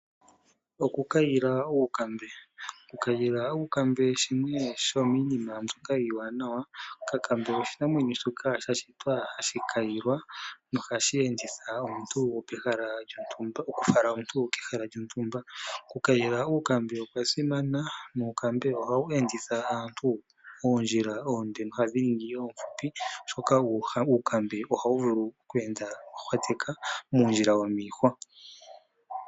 Okukayila uukambe. Okukayila uukambe shimwe shomiinima mbyoka iiwanawa. Okakambe oshinamwenyoa shoka sha shitwa hashi kayilwa nohashi enditha omuntu, okufala omuntu kehala lyontumba. Okukayila uukambe okwa simana nuukambe ohawu enditha aantu oondjila oondje nohadhi ningi oonfupi oshoka uukambe ohawu vulu okweenda oohwateka muundjila womiihwa.